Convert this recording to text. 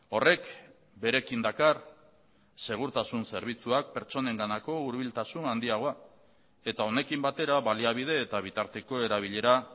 horrek berekin dakar segurtasun zerbitzuak pertsonenganako hurbiltasun handiagoa eta honekin batera baliabide eta bitarteko erabilera